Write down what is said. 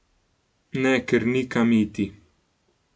Ne, ker ni kam iti.